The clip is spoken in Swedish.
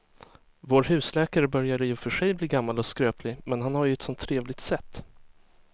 Vår husläkare börjar i och för sig bli gammal och skröplig, men han har ju ett sådant trevligt sätt!